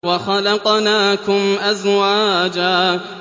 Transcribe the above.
وَخَلَقْنَاكُمْ أَزْوَاجًا